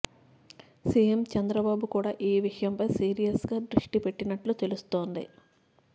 CM Chandrababu కూడా ఈ విషయంపై సీరియస్గా దృష్టి పెట్టినట్లు తెలుస్తోంది